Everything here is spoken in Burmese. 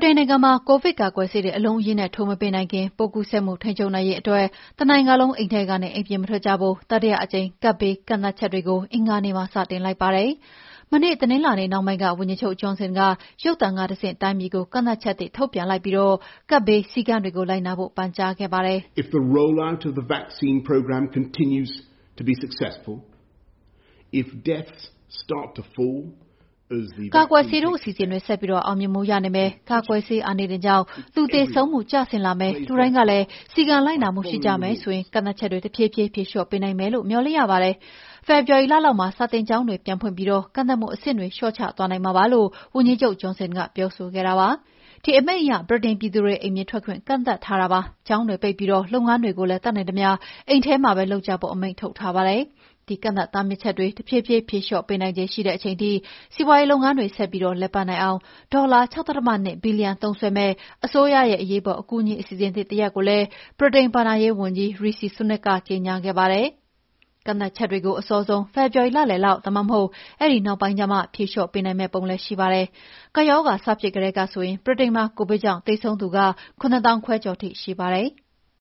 တိန်နိုင်ငံမှာ ကိုဗစ်ကာကွယ်ဆေးတွေ အလုံးအရင်းနဲ့ ထိုးမပေးနိုင်ခင် ပိုးကူးစက်မှုထိန်းချုပ်နိုင်ရေးအတွက် တနိုင်ငံလုံး အိမ်ထဲကနေ အိမ်ပြင်မထွက်ကြဖို့ တတိယကြိမ် ကပ်ဘေးကန့်သတ်ချက်တွေ အင်္ဂါနေ့မှာ စတင်လိုက်ပါတယ်။ မနေ့တနင်္လာနေ့နှောင်းပိုင်းက ဝန်ကြီးချုပ်ဂျွန်ဆင်က ရုပ်သံကတဆင့် တိုင်းပြည်ကို ကန့်သတ်ချက်သစ်ထုတ်ပြန်ပြီး ကပ်ဘေးစည်းကမ်းတွေလိုက်နာဖို့ ပန်ကြားခဲ့ပါတယ်။ "ကာကွယ်ဆေးထိုးအစီအစဉ်တွေ ဆက်ပြီးအောင်မြင်မှုရနေမယ်။ ကာကွယ်ဆေးအာနိသင်ကြောင့် လူသေဆုံးမှုကျဆင်းလာမယ်။ လူတိုင်းကလည်း စည်းကမ်းလိုက်နာမှုရှိကြမယ်ဆိုရင် ကန့်သတ်ချက်တွေတဖြည်းဖြည်း ဖြေလျော့ပေးနိုင်မယ်လို့ မေ ျှာ်လင့်ရပါတယ်။ ဖေဖော်ဝါရီလလောက်မှာ စာသင်ကျောင်းတွေပြန်ဖွင့်ပြီး ကန့်သတ်မှုအဆင့်တွေ လျော့ချသွားနိုင်မှာပါ။" လို့ ဝန်ကြီးချုပ် ဂျွန်ဆင်ကပြောခဲတာပါ။ ဒီ အမိန့်အရ ဗြိတိန်ပြည်သူတွေ အိမ်ပြင်ထွက်ခွင့်ကန့်သတ်ထားပါတယ်။ ကျောင်းတွေပိတ်ပြီး လုပ်ငန်းတွေကိုလည်း တတ်နိုင်သမျှအိမ်မှာပဲလုပ်ကြဖို့ အမိန့်ထုတ်ထားပါတယ်။ ဒီကန့်သတ်တားမြစ်ချက်တွေ တဖြည်းဖြည်းဖြေလေ ျှာ့ပေးနိုင်ခြေရှိတဲ့အချိန်ထိ စီးပွါးရေးလုပ်ငန်းတွေ ဆက်ပြီးလည်ပတ်နိုင်အောင် ဒေါ်လာ ၆.၂ ဘီလီယံသုံးစွဲမယ့်အစိုးရရဲ့ အကူအညီ အစီအစဉ်သစ်တရပ်ကိုလည်း ဗြိတိန်ဘဏ္ဍာရေးဝန်ကြီး Rishi Sunak ကကြေငြာခဲ့ပါတယ်။ ကန့်သတ်ချက်တွေကို အစောဆုံး ဖေဖော်ဝါရီလလယ်လောက်ဒါမှမဟုတ် အဲဒီနောက်ပိုင်းကျမှ ဖြေလျော့ပေးနိုင်မယ့်ပုံလည်း ရှိပါတယ်။ ကပ်ရောဂါ စဖြစ်ကတည်းကဆိုရင် ဗြိတိန်မှာ ကိုဗစ်ကြောင့် သေဆုံးသူ ၇၅,၀၀၀ ကျော်ရှိပါတယ်။